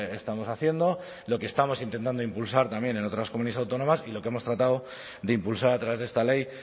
estamos haciendo lo que estamos intentando impulsar también en otras comunidades autónomas y lo que hemos tratado de impulsar a través de esta ley